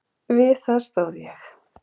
Við það stóð ég.